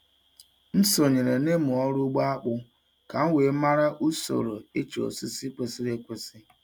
M sonyeere n'ịmụ ọrụ ugbo akpụ ka m wee mara usoro ịcha osisi kwesịrị ekwesị.